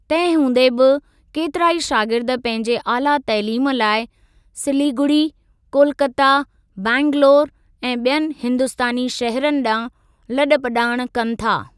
तंहिं हूंदे बि केतिराई शागिर्द पंहिंजे आला तइलीम लाइ सिलिगुड़ी, कोलकता, बैंगलौर ऐं ॿियनि हिंदुस्तानी शहरनि ॾांहुं लॾ पलाण कनि था।